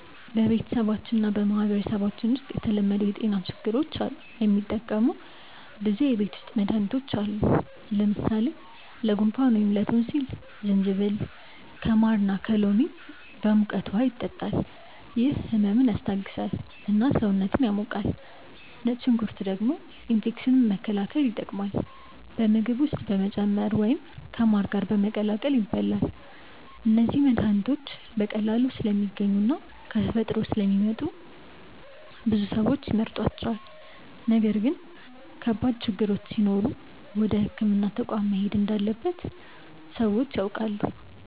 በቤተሰባችን እና በማህበረሰባችን ውስጥ ለተለመዱ የጤና ችግሮች የሚጠቀሙ ብዙ የቤት ውስጥ መድሃኒቶች አሉ። ለምሳሌ ለጉንፋን ወይም ላቶንሲል ጅንጅብል ከማር እና ከሎሚ ጋር በሙቀት ውሃ ይጠጣል፤ ይህ ህመምን ያስታግሳል እና ሰውነትን ያሞቃል። ነጭ ሽንኩርት ደግሞ ኢንፌክሽን መከላከል ይጠቀማል፣ በምግብ ውስጥ በመጨመር ወይም ከማር ጋር በመቀላቀል ይበላል። እነዚህ መድሃኒቶች በቀላሉ ስለሚገኙ እና ከተፈጥሮ ስለሚመጡ ብዙ ሰዎች ይመርጧቸዋል። ነገር ግን ከባድ ችግሮች ሲኖሩ ወደ ሕክምና ተቋም መሄድ እንዳለበት ሰዎች ያውቃሉ።